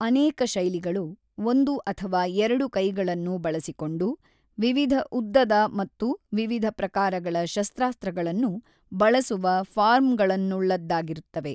ಅನೇಕ ಶೈಲಿಗಳು ಒಂದು ಅಥವಾ ಎರಡು ಕೈಗಳನ್ನು ಬಳಸಿಕೊಂಡು ವಿವಿಧ ಉದ್ದದ ಮತ್ತು ವಿವಿಧ ಪ್ರಕಾರಗಳ ಶಸ್ತ್ರಾಸ್ತ್ರಗಳನ್ನು ಬಳಸುವ ಫಾರ್ಮ್‌ಗಳನ್ನುಳ್ಳದ್ದಾಗಿರುತ್ತವೆ.